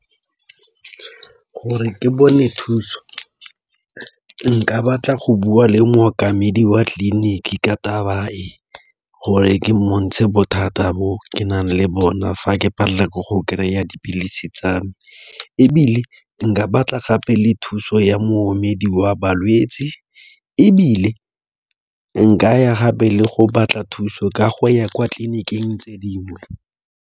Gore ke bone thuso nka batla go bua le mookamedi wa tleliniki ka taba e gore ke bothata bo ke nang le bona fa ke palelwa ke go kry-a dipilisi tsame ebile nka batla gape le thuso ya moomedi wa balwetsi ebile nkaya gape le go batla thuso ka go ya kwa tleliniking tse dingwe.